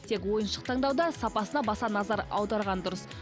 тек ойыншық таңдауда сапасына баса назар аударған дұрыс